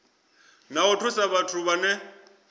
na u thusa vhathu vhane